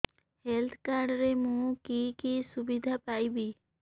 health card ରେ ମୁଁ କି କି ସୁବିଧା ପାଇବି